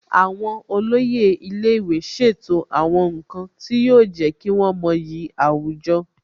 Àwọn olóyè ilé ìwé ṣètò àwọn nǹkan tí yóò jẹ́ kí wọ́n mọyì àwùjọ